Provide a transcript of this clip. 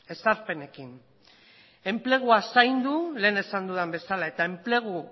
ezarpenekin enplegua zaindu lehen esan dudan bezala eta enplegu